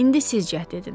İndi siz cəhd edin.